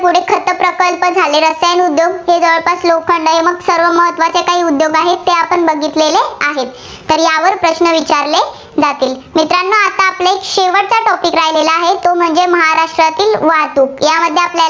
प्रकल्प झाले. रसायन उद्योग, लोखंड, सर्व महत्त्वाचे काही उद्योग आहेत, ते आपण बघितलेले आहेत. तर यावर प्रश्न विचारले जातील. मित्रांनो आता आपले शेवटचा topic राहिलेला आहे, तो म्हणजे महाराष्ट्रातील वाहतूक. यामध्ये आपल्याला.